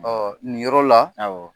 Ɔɔ nin yɔrɔ la